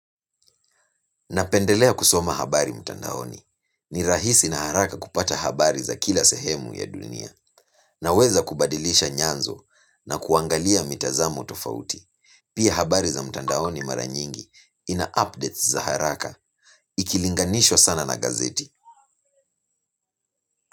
Napendelea kusoma habari mtandaoni. Ni rahisi na haraka kupata habari za kila sehemu ya dunia. Naweza kubadilisha nyanzo na kuangalia mitazamo tofauti. Pia habari za mtandaoni mara nyingi ina updates za haraka. Ikilinganishwa sana na gazeti.